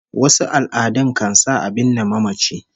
Wasu al'adun kan sa a binne mamaci